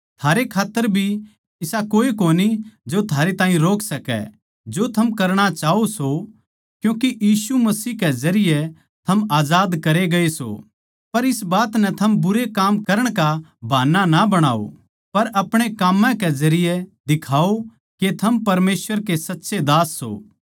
थारे खात्तर भी इसा कोए कोनी जो थारे ताहीं रोक सकै जो थम करणा चाहवो सों क्यूँके यीशु मसीह के जरिये थम आजाद करे गये सों पर इस बात नै थम बुरे काम करण का बहाना ना बणाओ पर अपणे काम्मां के जरिये दिखाओ के थम परमेसवर के सच्चे दास सों